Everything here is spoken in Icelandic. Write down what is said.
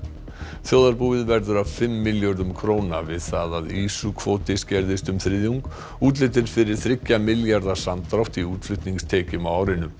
þjóðarbúið verður af fimm milljörðum króna við það að ýsukvóti skerðist um þriðjung útlit er fyrir þriggja milljarða samdrátt í útflutningstekjum á árinu